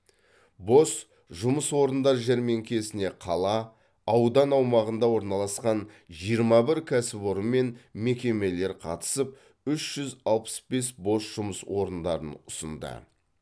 бос жұмыс орындар жәрмеңкесіне қала аудан аумағында орналасқан жиырма бір кәсіпорын мен мекемелер қатысып үш жүз алпыс бес бос жұмыс орындарын ұсынды